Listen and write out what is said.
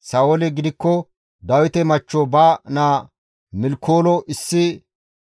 Sa7ooli gidikko Dawite machcho ba naa Milkoolo